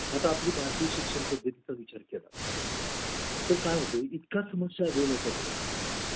आता आपली भारतीय शिक्षणपद्धती चा विचार केला तर काय होते इतके समस्या घेऊन येतात